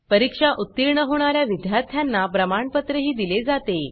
परीक्षेत उत्तीर्ण होणाऱ्या विद्यार्थ्यांना प्रमाणपत्र दिले जाते